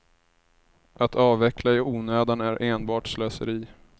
Att avveckla i onödan är enbart slöseri.